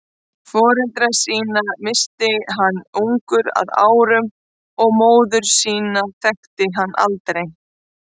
Foreldra sína missti hann ungur að árum og móður sína þekkti hann aldrei.